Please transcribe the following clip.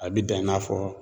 A bi dan i n'a fɔ